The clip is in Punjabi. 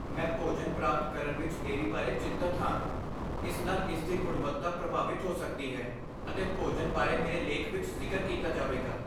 ਮੈਂ ਭੋਜਨ ਪ੍ਰਾਪਤ ਕਰਨ ਵਿੱਚ ਦੇਰੀ ਬਾਰੇ ਚਿੰਤਤ ਹਾਂ। ਇਸ ਨਾਲ ਇਸ ਦੀ ਗੁਣਵੱਤਾ ਪ੍ਰਭਾਵਿਤ ਹੋ ਸਕਦੀ ਹੈ ਅਤੇ ਭੋਜਨ ਬਾਰੇ ਮੇਰੇ ਲੇਖ ਵਿੱਚ ਜ਼ਿਕਰ ਕੀਤਾ ਜਾਵੇਗਾ।